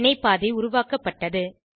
வினை பாதை உருவாக்கப்பட்டது